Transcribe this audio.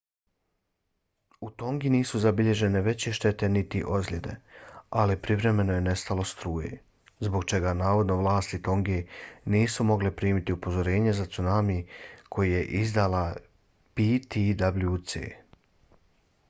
u tongi nisu zabilježene veće štete niti ozljede ali privremeno je nestalo struje zbog čega navodno vlasti tonge nisu mogle primiti upozorenje za cunami koje je izdala ptwc